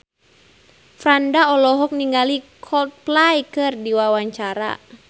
Franda olohok ningali Coldplay keur diwawancara